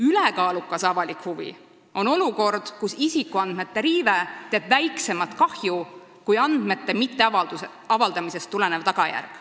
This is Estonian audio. Ülekaalukas avalik huvi tähendab olukorda, kus isikuandmete riive teeb väiksemat kahju kui andmete mitteavaldamisest tulenev tagajärg.